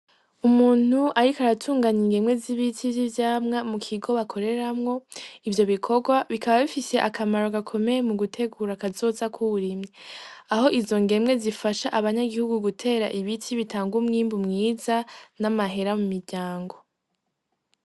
Umuntu, ariko aratunganya ingemwe z'ibiti vy'ivyamwa mu kigo bakoreramwo ivyo bikorwa bikaba bifise akamaro gakomeye mu gutegura akazozakwouwurimye aho izo ngemwe zifasha abanyagihugu gutera ibiti bitanga umwimbu mwiza n'amahera mu miryango.